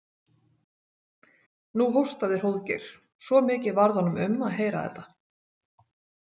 Nú hóstaði Hróðgeir, svo mikið varð honum um að heyra þetta.